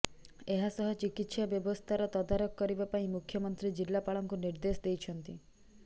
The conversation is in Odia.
ଏହାସହ ଚିକିତ୍ସା ବ୍ୟବସ୍ଥାର ତଦାରଖ କରିବା ପାଇଁ ମୁଖ୍ୟମନ୍ତ୍ରୀ ଜିଲ୍ଲାପାଳଙ୍କୁ ନିର୍ଦ୍ଦେଶ ଦେଇଛନ୍ତି